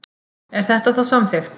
Er þetta þá samþykkt?